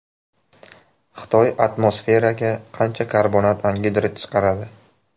Xitoy atmosferaga qancha karbonat angidrid chiqaradi?